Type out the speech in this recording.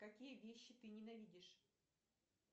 какие вещи ты ненавидишь